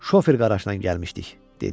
Şofer qarajla gəlmişdik," dedi.